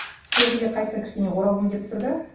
сол жерге қайтадан кішкене оралғым келіп тұр да